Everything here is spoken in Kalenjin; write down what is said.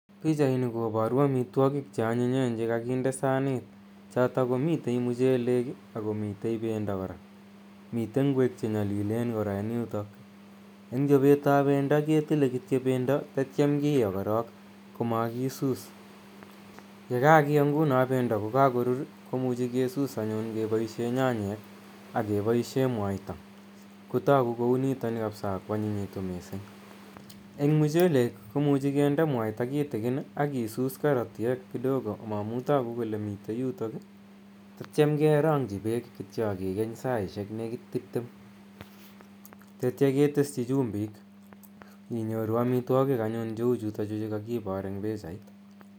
Pichaini koparu amitwogiik che anyinyen che kakinde saniit, chotok komitei mchelek i ako mitei pendo kora, mitei ngwek che nyalileen kora. Eng' chopet ap pendo ketile kityo pendo tatiam kioo korok komakisus. ko kakioo pendo anyun ko kakorur ko muchi kisus anyun kepaishe nyanyek ak kepaishe mwaita kotaku kou nitani kapsa ako anyinyitu missing'. Eng' mchelek ko muchi kinde mwaita kitikin akisus karatiek tutikin amu tagu kole mitei yutayu atiam kerang'chi peek kityo aki ken ssaishek nekit tiptem tetya keteschi chumbiik inyoru amitwogik anyun che u chutochu che kakipaar eng' pichait.